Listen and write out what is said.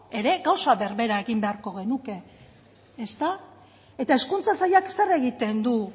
ere gauza berbera egin beharko genuke ezta eta hezkuntza sailak zer egiten du